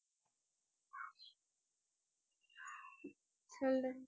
சொல்லு